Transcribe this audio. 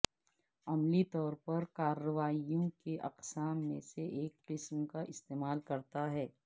عملی طور پر کارروائیوں کی اقسام میں سے ایک قسم کا استعمال کرتا ہے